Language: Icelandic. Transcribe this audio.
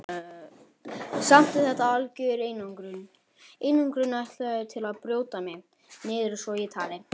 Samt er þetta algjör einangrun, einangrun ætluð til að brjóta mig niður svo ég tali.